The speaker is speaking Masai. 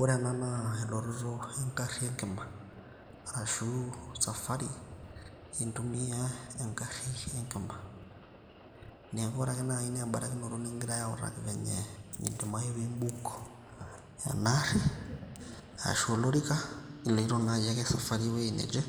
Ore ena naa elototo e garri e nkima arashu safari nintumia egarri enkima. Niaku ore ake naaji naa ebarikinoto nikigirai autaki venye nidimayu pee i book ena aarri ashu olorika iloito naaji esafari e wueji neje.